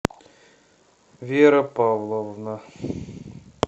вера павловна